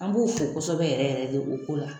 An b'u fo kosɛbɛ yɛrɛ yɛrɛ de o ko la